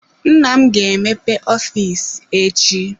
Nna m ga emepe ọfịs echi.